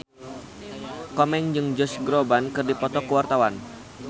Komeng jeung Josh Groban keur dipoto ku wartawan